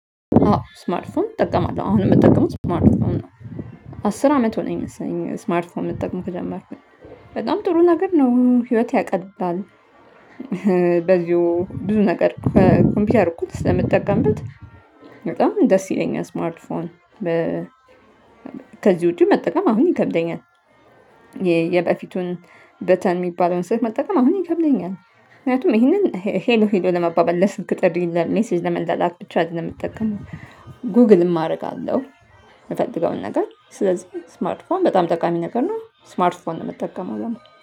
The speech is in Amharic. ስማርት ፎን እጠቀማለሁ አሁንም የምጠቀመው ስማርት ፎን ነው። አስር አመት ሆነኝ መሰለኝ ስማርት ፎን መጠቀም ከጀመርኩኝ በጣም ጥሩ ነገር ነው ህይወት ያቀላል። በዚሁ ብዙ ነገር ከኮምፒውተር እኩል ስለምትጠቀምበት በጣም ደስ ይለኛል። ስማርት ፎን ከዚህ ውጪ መጠቀም አሁን ይከብደኛል። የበፊቱን በተን የሚባለውን ስልክ መጠቀም አሁን ይከብደኛል። ምክንያቱም ይሄንን ሄሎ ሄሎ ለመባባል ለስልክ ጥሪ ለመላላክ ብቻ አይደለም የምጠቀመው ጉግል አደርጋለሁ። የምፈልገውን ነገር ስለዚህ ስማርት ፎም በጣም ጠቃሚ ነገር ነው። ስማርት ፎም ነው የምትጠቀመው